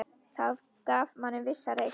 Það gaf manni vissa reisn.